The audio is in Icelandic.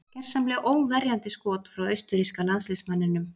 Gersamlega óverjandi skot frá austurríska landsliðsmanninum.